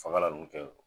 Fagalan ninnu kɛ